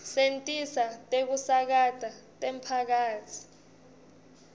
setinsita tekusakata temphakatsi